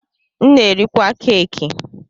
M na-erikwa keki.